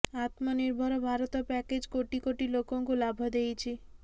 ଆତ୍ମନିର୍ଭର Bharat package କୋଟି କୋଟି ଲୋକଙ୍କୁ ଲାଭ ଦେଇଛି